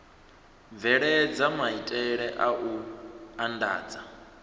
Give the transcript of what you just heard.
bveledza maitele a u andadza